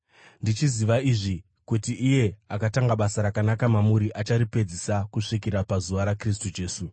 ndichiziva izvi, kuti iye akatanga basa rakanaka mamuri acharipedzisa kusvikira pazuva raKristu Jesu.